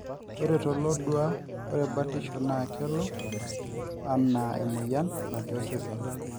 ore tolodua ore batisho naa kelo anaa emoyian natii osesen